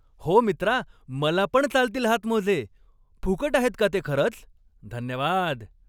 हो मित्रा, मला पण चालतील हातमोजे. फुकट आहेत का ते खरंच? धन्यवाद!